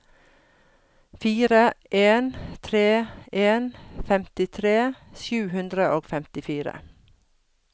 fire en tre en femtitre sju hundre og femtifire